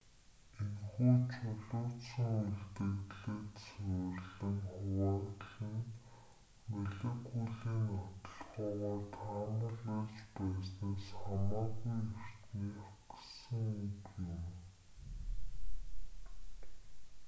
энэхүү чулуужсан үлдэгдэлд суурилан хуваагдал нь молекулын нотолгоогоор таамаглаж байснаас хамаагүй эртнийх гэсэг үг юм